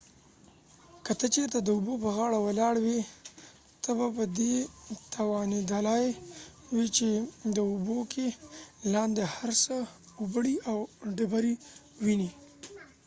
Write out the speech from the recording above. که ته چېرته د اوبو په غاړه ولاړ وي ته به په دي توانیدلای وي چې د اوبو کې لاندې هر څه اوبړۍ او ډبری ووينی